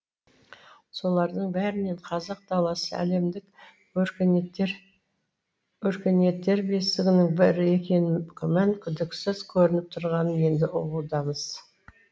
солардың бәрінен қазақ даласы әлемдік өркениеттер бесігінің бірі екенін күмән күдіксіз көрініп тұрғанын енді ұғудамыз